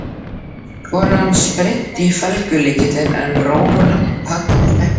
Konan spyrnti í felgulykilinn en róin haggaðist ekki.